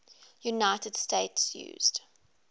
united states used